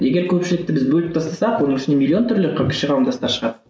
егер көпшілікті біз бөліп тастасақ оның ішінде миллион түрлі кіші қауымдастар шығады